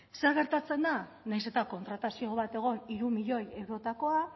zer gertatzen da nahiz eta kontratazio bat egon hiru milioi eurotakoa